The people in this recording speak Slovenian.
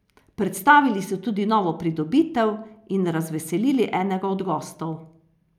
Predstavili so tudi novo pridobitev in razveselili enega od gostov.